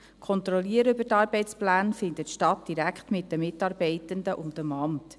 Die Kontrolle der Arbeitspläne findet direkt mit den Mitarbeitenden und dem Amt statt.